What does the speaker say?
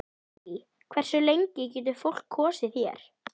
Stuttu seinna var fyrsta veiðarfæragerðin hérlendis, Veiðarfæragerð